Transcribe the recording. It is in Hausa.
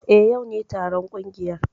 Eh, yau ne taron kungiyar.